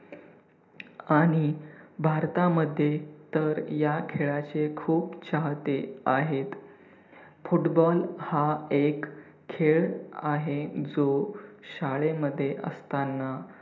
आणि भारतामध्ये तर ह्या खेळाचे खूप चाहते आहेत. football हा एक खेळ आहे, जो शाळेमध्ये असताना